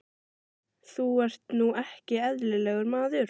Þú ert nú ekki eðlilegur, maður!